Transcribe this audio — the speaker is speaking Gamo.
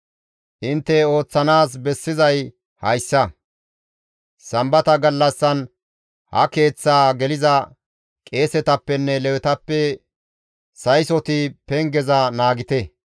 Intte ooththanaas bessizay hayssa; Sambata gallassan ha Keeththaa geliza qeesetappenne Lewetappe saysoti pengeza naagite;